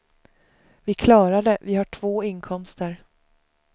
Vi klarar det, vi har två inkomster.